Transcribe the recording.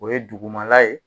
O ye dugumala ye.